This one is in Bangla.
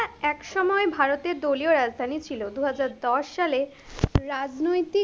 একসময় ভারতের দলীয় রাজধানী ছিল, দুহাজার দশ সালে, রাজনৈতিক,